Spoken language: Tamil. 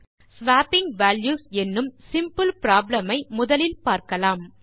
ஸ்வாப்பிங் வால்யூஸ் என்னும் சிம்பிள் ப்ராப்ளம் ஐ முதலில் பார்க்கலாம்